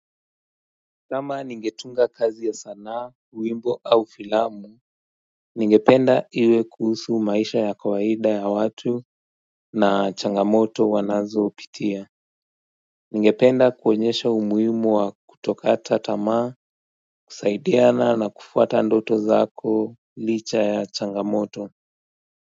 Kama ningetunga kazi ya sanaa wimbo au filamu Ningependa iwe kuhusu maisha ya kawaida ya watu na changamoto wanazopitia Ningependa kuonyesha umuhimu wa kutokata tamaa kusaidiana na kufuata ndoto zako licha ya changamoto.